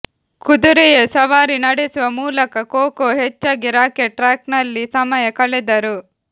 ಕುದುರೆಯ ಸವಾರಿ ನಡೆಸುವ ಮೂಲಕ ಕೊಕೊ ಹೆಚ್ಚಾಗಿ ರಾಕೆಟ್ ಟ್ರ್ಯಾಕ್ನಲ್ಲಿ ಸಮಯ ಕಳೆದರು